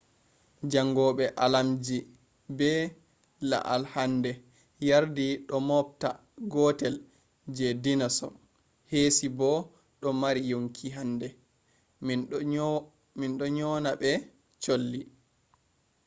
jangobe aalamji be i’al hande yardi do moobta gootel je dinorsaur heesi bo do mari yonki hande. mindo nyona be cholli